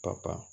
Ka kan